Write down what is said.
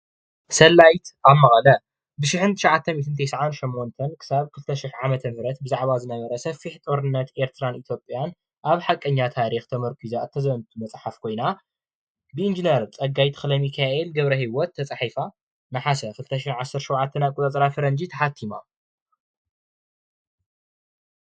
ሰላይት ኣብ መቀለ ብ1998 ክሳብ 2000 ዓ/ም ኣብ ዝነበረ ሰፊሕ ጦርነት ኤርትራን ኢትዮጵያን ኣብ ሓቀኛ ታሪክ ተመርኩሳ እተዘንቱ መጽሕእፍ ኮይና ብኢንጅነር ፀጋይ ተኽለሚካኤል ትጻሒፋ ነሓሰ 2009 ዓ/ም ፈረንጂ ተሕእቲማ ።